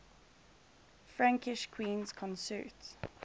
frankish queens consort